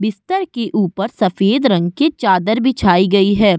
बिस्तर के ऊपर सफेद रंग के चादर बिछाई गई है।